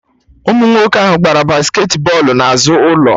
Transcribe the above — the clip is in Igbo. Ụmụ nwoke ahụ gbara basket bọlụ na azụ ụlọ